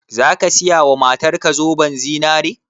Zaka siya wa matar ka zoben zinare?